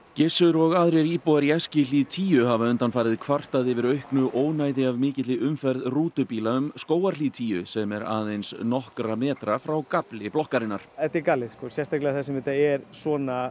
Gissur og aðrir íbúar í Eskihlíð tíu hafa undanfarið kvartað yfir auknu ónæði af mikilli umferð rútubíla um Skógarhlíð tíu sem er aðeins nokkra metra frá gafli blokkarinnar þetta er galið þar sem þetta er svona